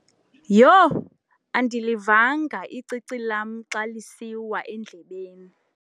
Yho! Andilivanga icici lam xa lisiwa endlebeni.